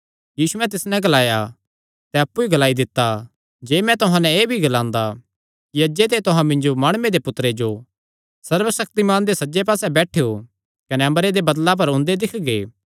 यीशुयैं तिस नैं ग्लाया तैं अप्पु ई ग्लाई दित्ता जे मैं तुहां नैं एह़ भी ग्लांदा कि अज्जे ते तुहां मिन्जो माणुये दे पुत्तरे जो सर्वशक्तिमान दे सज्जे पास्से बैठेयो कने अम्बरे दे बदल़ां पर ओंदे दिक्खगे